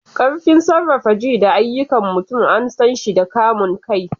Ƙarfin sarrafa ji da ayyukan mutum an san shi da kamun kai.